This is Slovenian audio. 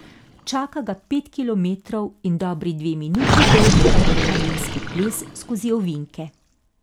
Čaka ga pet kilometrov in dobri dve minuti dolg adrenalinski ples skozi ovinke.